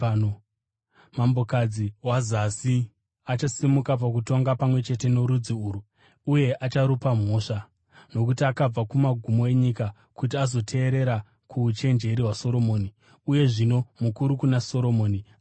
Mambokadzi weZasi achasimuka pakutongwa pamwe chete norudzi urwu uye acharupa mhosva, nokuti akabva kumagumo enyika kuti azoteerera kuuchenjeri hwaSoromoni, uye zvino mukuru kuna Soromoni ari pano.